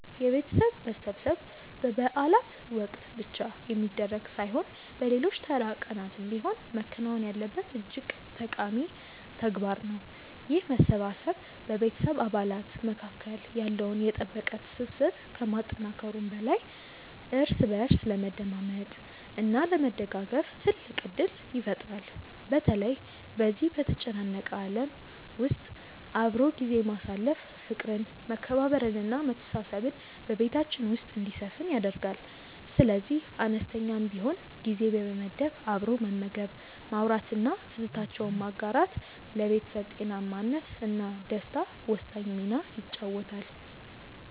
የቤተሰብ መሰብሰብ በበዓላት ወቅት ብቻ የሚደረግ ሳይሆን በሌሎች ተራ ቀናትም ቢሆን መከናወን ያለበት እጅግ ጠቃሚ ተግባር ነው። ይህ መሰባሰብ በቤተሰብ አባላት መካከል ያለውን የጠበቀ ትስስር ከማጠናከሩም በላይ እርስ በእርስ ለመደማመጥ እና ለመደጋገፍ ትልቅ ዕድል ይፈጥራል። በተለይ በዚህ በተጨናነቀ ዓለም ውስጥ አብሮ ጊዜ ማሳለፍ ፍቅርን መከባበርን እና መተሳሰብን በቤታችን ውስጥ እንዲሰፍን ያደርጋል። ስለዚህ አነስተኛም ቢሆን ጊዜ በመመደብ አብሮ መመገብ ማውራት እና ትዝታዎችን ማጋራት ለቤተሰብ ጤናማነት እና ደስታ ወሳኝ ሚና ይጫወታል